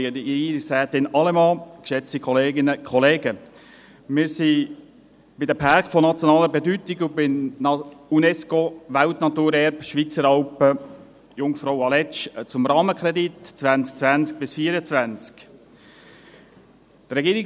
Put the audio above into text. der BaK. Wir sind bei den Pärken von nationaler Bedeutung und beim «UNESCO Weltkulturerbe Schweizer Alpen JungfrauAletsch», zum Rahmenkredit 2020 bis 2024.